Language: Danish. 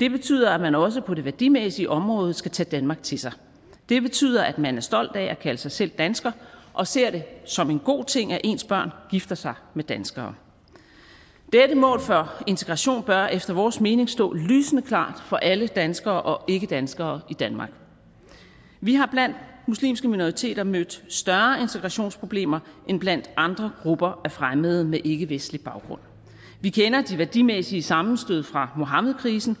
det betyder at man også på det værdimæssige område skal tage danmark til sig det betyder at man er stolt af at kalde sig selv dansker og ser det som en god ting at ens børn gifter sig med danskere dette mål for integrationen bør efter vores mening stå lysende klart for alle danskere og ikkedanskere i danmark vi har blandt muslimske minoriteter mødt større integrationsproblemer end blandt andre grupper af fremmede med ikkevestlig baggrund vi kender de værdimæssige sammenstød fra muhammedkrisen